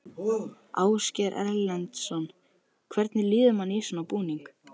Ásgeir Erlendsson: Hvernig líður manni í svona búning?